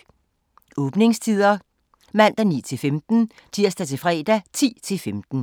Åbningstider: Mandag: 9-15 Tirsdag-fredag: 10-15